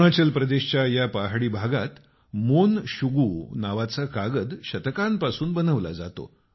अरूणाचल प्रदेशाच्या या पहाडी भागात मोन शुगु नावाचा कागद शतकांपासून बनवला जातो